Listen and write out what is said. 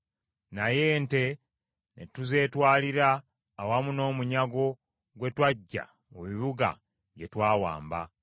Naye ente ne tuzeetwalira awamu n’omunyago gwe twaggya mu bibuga bye twawamba.